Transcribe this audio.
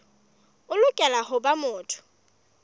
o lokela ho ba motho